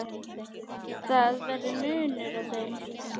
Það verður munur á þeim.